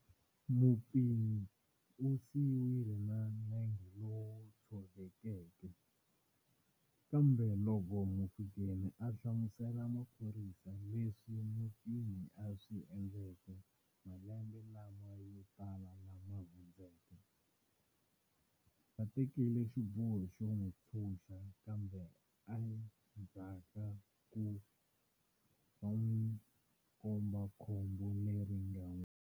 Mupfinyi u siyiwile na nenge lowu tshovekeke, kambe loko Mofokeng a hlamuserile maphorisa leswi mupfinyi a swi endleke malembe lama yo tala lama hundzeke, va tekile xiboho xo n'wi ntshuxa kambe endzha ku ka ku n'wi komba khombo leri nga n'wi.